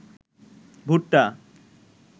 ভুট্টা